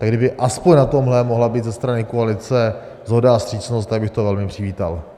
Tak kdyby aspoň na tomhle mohla být ze strany koalice shoda a vstřícnost, tak bych to velmi přivítal.